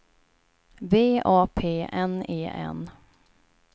V A P N E N